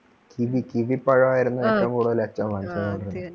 kiwi kiwi പഴം ആയിരുന്നു ഏറ്റവുംകൂടുതൽ അച്ഛൻ വാങ്ങിച്ചന്നെ